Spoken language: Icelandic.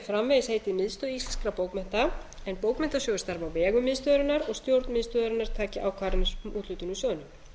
framvegis heitið miðstöð íslenskra bókmennta en bókmenntasjóður starfi á vegum miðstöðvarinnar og stjórn miðstöðvarinnar taki ákvarðanir um úthlutun úr sjóðnum